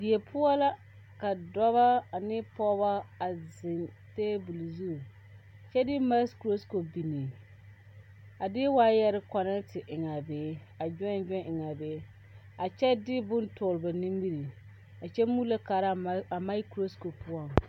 Die poɔ la ka dɔba ane pɔgeba a zeŋ tabol zu kyɛ de makurokopi biŋ a de waayɛrɛ kɔnɛte eŋ a be a gyɔɛn gyɔɛn eŋ a be a kyɛ de bone tɔgle a ba nimiri a kyɛ muulo kaara a makurokopi poɔŋ.